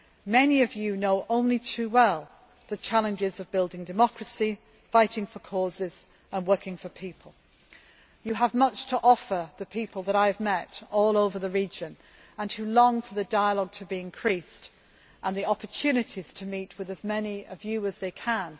Many of you know only too well the challenges of building democracy, fighting for causes and working for people. You have much to offer the people that I have met all over the region who long for greater dialogue and for the opportunity to meet with as many of you as